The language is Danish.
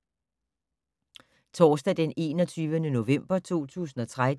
Torsdag d. 21. november 2013